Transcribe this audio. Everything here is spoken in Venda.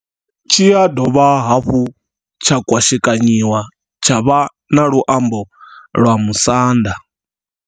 Tshi ya dovha hafhu tsha kwashekanyiwa tsha vha na luambo lwa musanda.